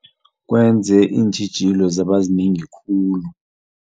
Kwenze iintjhijilo zaba zinengi khulu.